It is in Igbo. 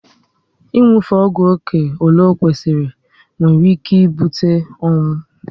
Ị nwufe ọgwụ oké ọle o kwesịrị nwere ike ibute ọnwụ